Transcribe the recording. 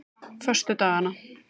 föstudagana